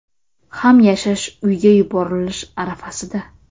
ham yashash uyga yuborilish arafasida.